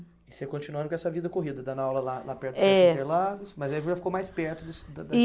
E você continuando com essa vida corrida, dando aula lá, lá perto. É. Mas aí já ficou mais perto